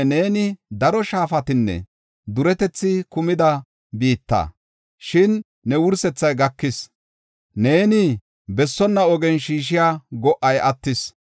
Babiloone, neeni daro shaafatinne duretethi kumida biitta, shin ne wursethay gakis; neeni bessonna ogen shiishiya go77ay attis.